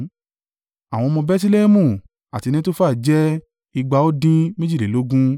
Àwọn ọmọ Bẹtilẹhẹmu àti Netofa jẹ́ igba ó dín méjìlélógún (188)